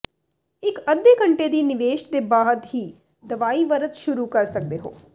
ਇੱਕ ਅੱਧੇ ਘੰਟੇ ਦੀ ਨਿਵੇਸ਼ ਦੇ ਬਾਅਦ ਹੀ ਦਵਾਈ ਵਰਤ ਸ਼ੁਰੂ ਕਰ ਸਕਦੇ ਹੋ